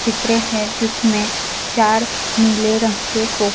चित्र है जिसमें चार नीले रंग के सोफ --